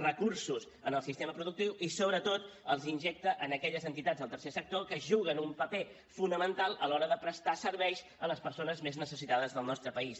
recursos en el sistema productiu i sobretot els injecta en aquelles entitats del tercer sector que juguen un paper fonamental a l’hora de prestar serveis a les persones més necessitades del nostre país